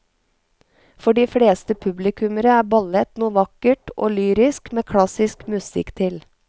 For de fleste publikummere er ballett noe vakkert og lyrisk med klassisk musikk til.